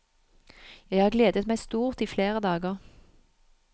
Jeg har gledet meg stort i flere dager.